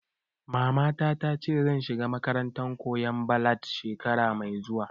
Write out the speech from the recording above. Mamana ta ce zan shiga makarantar koyan ballad shekara mai zuwa